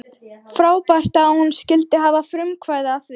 Frábært að hún skyldi hafa frumkvæði að því!